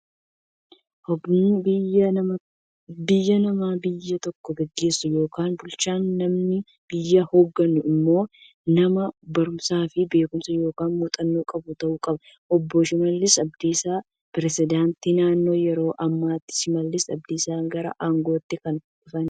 Hognaan biyyaa nama biyya tokko gaggeessuu yookiin bulchuudha. Namni biyya hoogganu immoo nama baruumsaafi beekumsa yookiin muuxannoo qabu ta'uu qaba. Obbo Shimallis Abdiisaa Presidaantii naannoo yeroo ammaati. Shimallis Abdiisaa gara aangootti kan dhufan